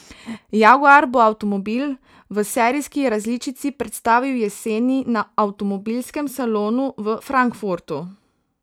Jaguar bo avtomobil v serijski različici predstavil jeseni na avtomobilskem salonu v Frankfurtu.